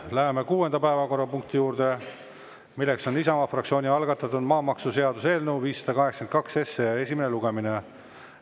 Läheme kuuenda päevakorrapunkti juurde, milleks on Isamaa fraktsiooni algatatud maamaksuseaduse eelnõu 582 esimene lugemine.